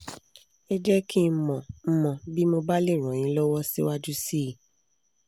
ẹ jẹ́ kí n mọ̀ n mọ̀ bí mo bá lè ràn yín lọ́wọ́ síwájú sí i